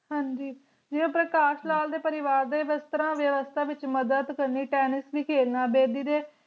ਹਾਂਜੀ ਜਿਵੇਂ ਉਹ ਪ੍ਰਕਾਸ਼ ਲਾਲ ਦੇ ਪਰਿਵਾਰ ਦੇ ਵਸਤਰਾਂ ਵਿਯਵਸਥਾ ਵਿਚ ਮਦਦ ਕਰਨੀ Tennis ਵੀ ਖੇਲਣਾ ਬੇਦੀ ਦੇ